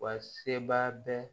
Wa seba bɛ